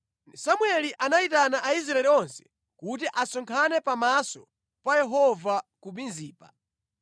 Samueli anayitana Aisraeli onse kuti asonkhane pamaso pa Yehova ku Mizipa.